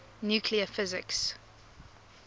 nuclear physics